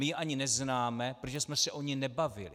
My je ani neznáme, protože jsme se o nich nebavili.